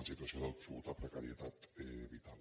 en situació d’absoluta precarietat vital